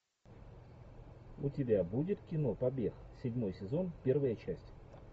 у тебя будет кино побег седьмой сезон первая часть